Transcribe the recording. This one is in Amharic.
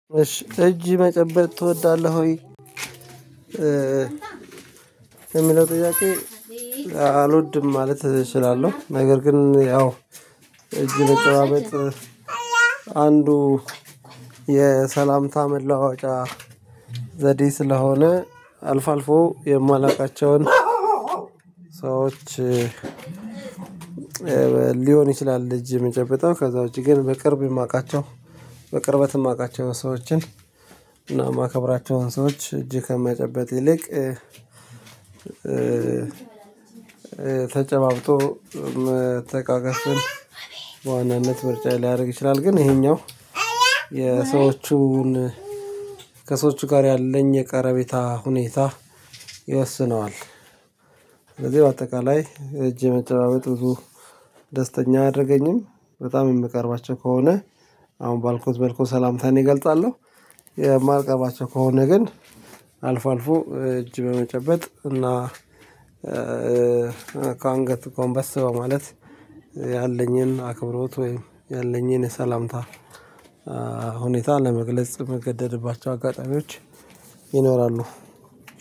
እጅ መጨበጥ ትወዳለህ ወይ የሚለው ጥያቄ አልወድም ማለት እችላለሁ። ነገር ግን ያው እጅ መጨባበጥ አንዱ የሰላምታ መለዋዎጫ ዘዴ ስለሆነ አልፎ አልፎ የማላውቃቸውን ሰዎች። ሊሆን ይችላል እጅ የሚጨብጠው ከዛ ውጪ ግን በቅርብ የማውቃቸው በቅርበት የማውቃቸው ሰዎችን እና የማከብራቸውን ሰዎች እጅ ከማጨበጥ ይልቅ ተጨባብጦ መተቃቀፍን በዋናነት ምርጫ ሊያደርግ ይችላል። ግን ይሄኛው የሰዎቹን ከሰዎቹ ጋር ያለኝ የቀረቤታ ሁኔታ ይወስነዋል። ስለዚህ በአጠቃላይ እጅ የመጨባበጥ ብዙ ደስተኛ አያደርገኝም። በጣም የምቀርባቸው ከሆነ አሁን ባልኩት መልኩ ሰላምታን እገልጻለሁ። የማልቀርባቸው ከሆነ ግን አልፎ አልፎ እጅ በመጨበጥ እና ጎንበስ በማለት ያለኝን አክብሮት ወይም ያለኝን የሰላምታ ሁኔታ ለመግለጽ እምገደድባቸው አጋጣሚዎች ይኖራሉ።